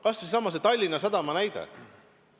Kas või seesama Tallinna Sadama näide.